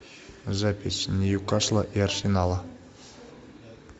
запись ньюкасла и арсенала